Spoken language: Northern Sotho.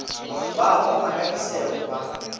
ba oma ka disego ba